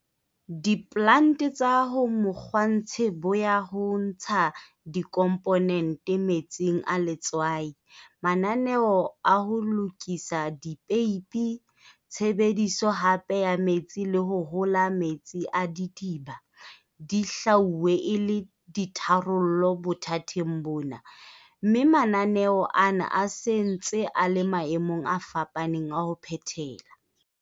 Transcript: Diplante tsa ho mokgwatshe bo ya ho ntsha dikomponente metsing a letswai, mananeo a ho lokisa dipeipi, tshebediso hape ya metsi le ho hola metsi a didiba. Di hlwauwe e le ditharollo bothateng bona, mme mananeo ana a se ntse a le maemong a fapaneng a ho phethela.